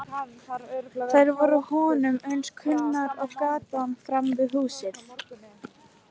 Þær voru honum eins kunnar og gatan framan við húsið.